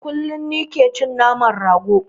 Kullum nike cin naman rago